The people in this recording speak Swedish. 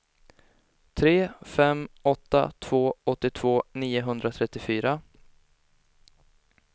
tre fem åtta två åttiotvå niohundratrettiofyra